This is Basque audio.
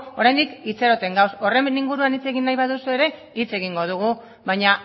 oraindik itxaroten gaude horren inguruan hitz egin nahi baduzu ere hitz egingo dugu baina